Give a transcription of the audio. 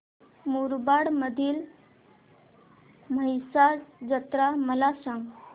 मुरबाड मधील म्हसा जत्रा मला सांग